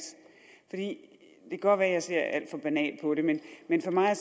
det kan godt være at jeg ser alt for banalt på det men for mig at